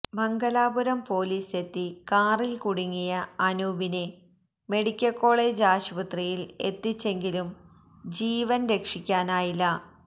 Mangalapuram police എത്തി കാറിൽ കുടുങ്ങിയ അനൂപിനെ മെഡിക്കൽകോളേജ് ആശുപത്രിയിൽ എത്തിച്ചെങ്കിലും ജീവൻ രക്ഷിക്കാനായില്ല